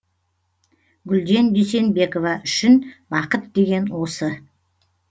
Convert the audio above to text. гүлден дүйсенбекова үшін бақыт деген осы